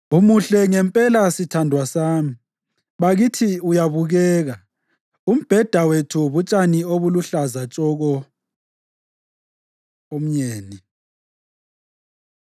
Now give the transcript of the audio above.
Umuhle ngempela, sithandwa sami! Bakithi, uyabukeka! Umbheda wethu butshani obuluhlaza tshoko. Umyeni